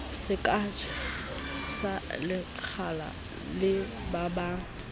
sejalo sa lekgala le babang